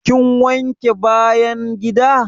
Kin wanke bayan gida?